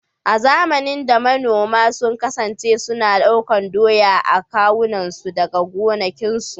A zamanin da, manoma sun kasance suna ɗaukar doya a kawunansu daga gonakinsu.